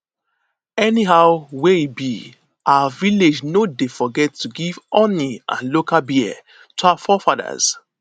anyhow wey e be our village no dey forget to give honey and local beer to our forefathers